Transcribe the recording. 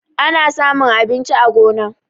Ana samun abinci a gona.